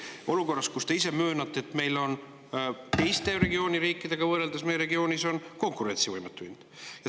Ja seda olukorras, kus, nagu te ise möönate, meil on teiste regiooni riikidega võrreldes konkurentsivõimetu hind.